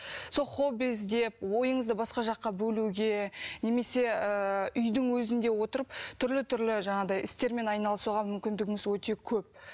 сол хобби іздеп ойыңызды басқа жаққа бөлуге немесе ыыы үйдің өзінде отырып түрлі түрлі жаңағыдай істермен айналысуға мүмкіндігіңіз өте көп